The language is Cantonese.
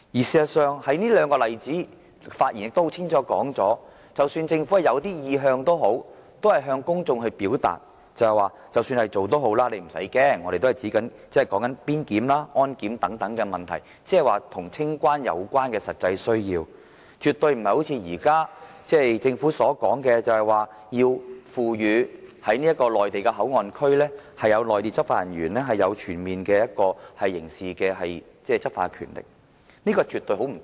事實上，這兩個例子很清楚指出，儘管政府有意向，但當局還是向公眾表達，意思是要市民不用害怕，即使這樣也好，所說的只是邊檢、安檢等問題，是與清關有關的實際需要，絕對不是政府今天所說，要賦予內地口岸區執法人員擁有全面刑事執法權，說兩者絕對不同。